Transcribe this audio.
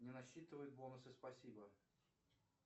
не рассчитывает бонусы спасибо